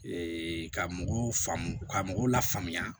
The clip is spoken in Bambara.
ka mɔgɔw faamu ka mɔgɔw lafaamuya